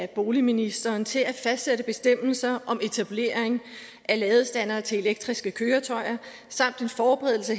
boligministeren til at fastsætte bestemmelser om etablering af ladestandere til elektriske køretøjer samt en forberedelse